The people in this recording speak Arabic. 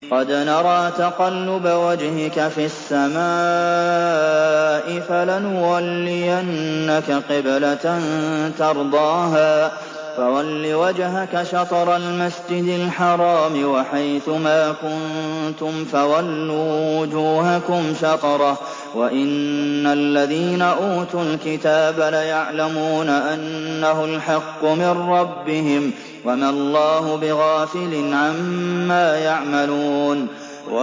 قَدْ نَرَىٰ تَقَلُّبَ وَجْهِكَ فِي السَّمَاءِ ۖ فَلَنُوَلِّيَنَّكَ قِبْلَةً تَرْضَاهَا ۚ فَوَلِّ وَجْهَكَ شَطْرَ الْمَسْجِدِ الْحَرَامِ ۚ وَحَيْثُ مَا كُنتُمْ فَوَلُّوا وُجُوهَكُمْ شَطْرَهُ ۗ وَإِنَّ الَّذِينَ أُوتُوا الْكِتَابَ لَيَعْلَمُونَ أَنَّهُ الْحَقُّ مِن رَّبِّهِمْ ۗ وَمَا اللَّهُ بِغَافِلٍ عَمَّا يَعْمَلُونَ